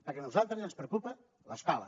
perquè a nosaltres ens preocupa l’escola